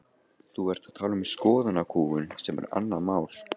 Þú ert að tala um skoðanakúgun sem er annað mál.